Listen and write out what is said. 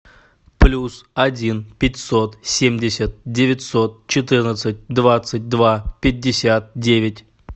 плюс один пятьсот семьдесят девятьсот четырнадцать двадцать два пятьдесят девять